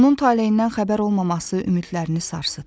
Onun taleyindən xəbər olmaması ümidlərini sarsıtdı.